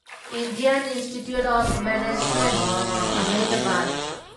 Indian Institute of Management Ahmedabad